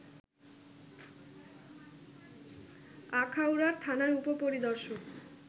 আখাউড়ার থানার উপপরিদর্শক